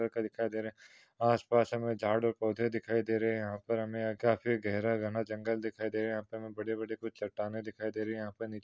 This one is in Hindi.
दिखाई दे रहा है आसपास हमे झाड और पौधे दिखाई दे रहे है यहा पर हमे काफी गहरा-गहन जंगल दिखाई दे रहा है यहा पर हमें बडे बडे कुछ चट्टानें दिखाई दे रही है यहा पर --